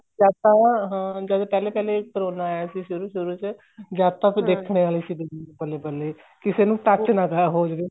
ਜਦ ਤਾਂ ਹਾਂ ਜਦ ਪਹਿਲੇ ਪਹਿਲੇ ਕਰੋਨਾ ਆਇਆ ਸੀ ਸ਼ੁਰੂ ਸ਼ੁਰੂ ਚ ਜਦ ਤਾਂ ਫ਼ੇਰ ਦੇਖਣੇ ਆਲੀ ਸੀਦੁਨੀਆ ਬੱਲੇ ਬੱਲੇ ਕਿਸੇ ਨੂੰ touch ਨਾ ਤਾਂ ਹੋ ਜਵੇ